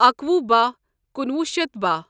اکۄپ بہہ کنوہ شیتھ بہہَ